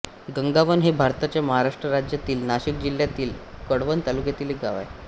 गंगावन हे भारताच्या महाराष्ट्र राज्यातील नाशिक जिल्ह्यातील कळवण तालुक्यातील एक गाव आहे